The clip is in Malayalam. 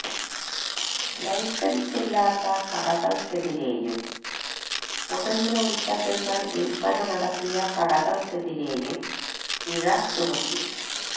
ലൈസന്സില്ലാത്ത കടകള്ക്കെതിരെയും പുകയില ഉല്പ്പന്നങ്ങള് വില്പ്പന നടത്തിയ കടകള്ക്കെതിരെയും പിഴ ചുമത്തി